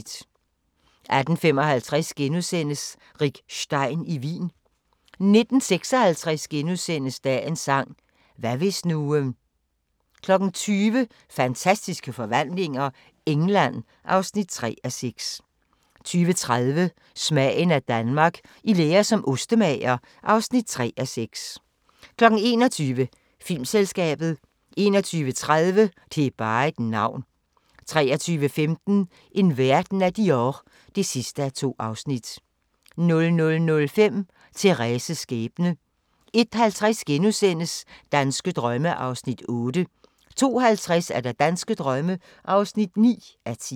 18:55: Rick Stein i Wien * 19:56: Dagens sang: Hvad hvis nu * 20:00: Fantastiske forvandlinger - England (3:6) 20:30: Smagen af Danmark – I lære som ostemager (3:6) 21:00: Filmselskabet 21:30: Det er bare et navn 23:15: En verden af Dior (2:2) 00:05: Thérèses skæbne 01:50: Danske drømme (8:10)* 02:50: Danske drømme (9:10)